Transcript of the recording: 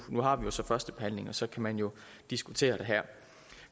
har vi så førstebehandlingen og så kan man jo diskutere det her